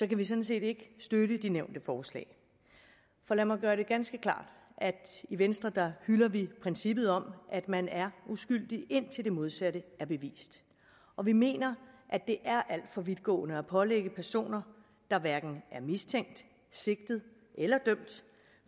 vi sådan set ikke støtte det nævnte forslag for lad mig gøre det ganske klart at i venstre hylder vi princippet om at man er uskyldig indtil det modsatte er bevist og vi mener at det er alt for vidtgående at pålægge personer der hverken er mistænkt sigtet eller dømt